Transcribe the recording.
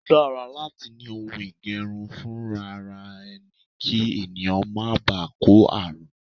O dára láti ni ohun ìge̩run funraare̩ e̩ni kí ènìyàn má baà kó ààrùn.